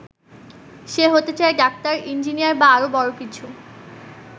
সে হতে চায় doctor, engineer বা আরো বড় কিছু।